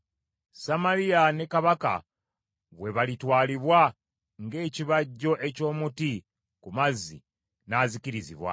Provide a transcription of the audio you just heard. Samaliya ne kabaka we balitwalibwa ng’ekibajjo eky’omuti ku mazzi n’azikirizibwa.